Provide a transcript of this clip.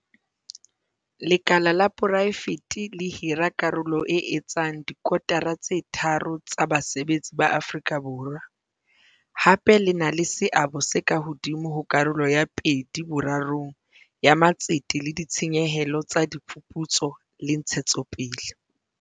Lekala la poraefete le hira karolo e etsang dikotara tse tharo tsa basebetsi ba Afrika Borwa, hape le na le seabo se ka hodimo ho karolo ya pedi-borarong ya matsete le ditshenyehelo tsa diphuputso le ntshetsopele.